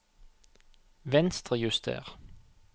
Venstrejuster